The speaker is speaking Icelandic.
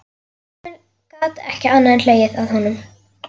Emil gat ekki annað en hlegið að honum.